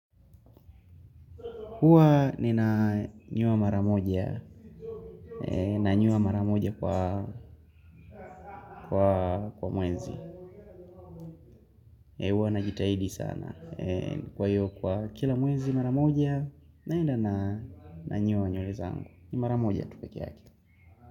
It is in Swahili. Huwa nina nyoa maramoja na nyoa maramoja kwa muezi. Huwa na jitahidi sana kwa hiyo kwa kila muezi maramoja naenda na nyoa nywereza angu. Ni mara moja tu pekee yake.